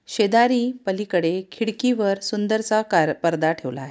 शेजारी पलिकडे खिडकीवर सुंदरसा कार-पर्दा ठेवला आहे.